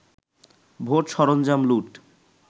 ভোট-সরঞ্জাম লুট